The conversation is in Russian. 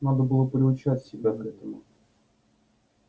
надо было приучать себя к этому